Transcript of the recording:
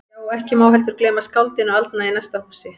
Já, og ekki má heldur gleyma skáldinu aldna í næsta húsi.